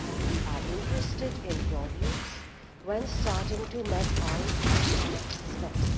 We are interested in Members views when starting to map out the next steps.